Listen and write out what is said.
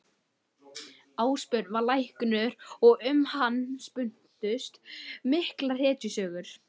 Ásbjörn var læknir og um hann spunnust miklar hetjusögur.